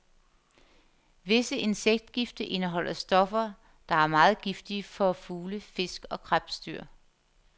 Visse insektgifte indeholder stoffer, der er meget giftige for fugle, fisk og krebsdyr.